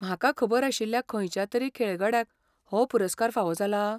म्हाका खबर आशिल्ल्या खंयच्या तरी खेळगड्यांक हो पुरस्कार फावो जाला?